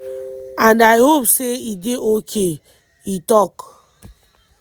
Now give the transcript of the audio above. and i hope say e dey ok” e tok.